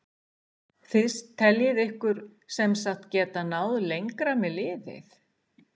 Þið teljið ykkur sem sagt geta náð lengra með liðið?